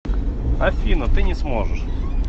афина ты не сможешь